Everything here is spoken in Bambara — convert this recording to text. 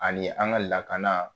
Ani an ŋa lakana